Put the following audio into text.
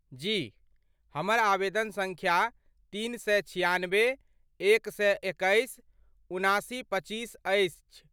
जी, हमर आवेदन सङ्ख्या तीन सए छिआनबे एक सए एकैस उनासी पच्चीस अछि।